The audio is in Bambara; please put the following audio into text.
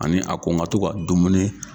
Ani a ko n ka to ka dumuni.